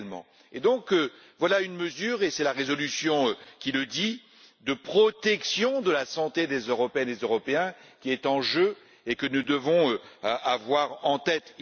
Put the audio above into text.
Par conséquent, voilà une mesure et c'est la résolution qui le dit de protection de la santé des Européennes et des Européens qui est en jeu et que nous devons avoir en tête.